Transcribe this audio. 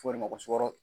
F'o de ma ko sukaro